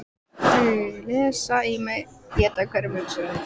Þau lesa í mig, éta hverja hugsun.